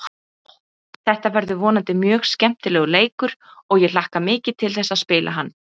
Þetta verður vonandi mjög skemmtilegur leikur og ég hlakka mikið til þess að spila hann.